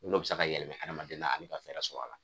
N'o bi se ka yɛlɛmɛ adamaden na an mi ka fɛrɛ sɔrɔ a la